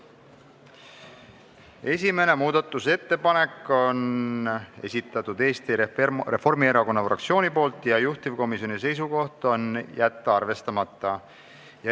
Esimene muudatusettepanek on Eesti Reformierakonna fraktsioonilt, juhtivkomisjoni seisukoht: jätta arvestamata.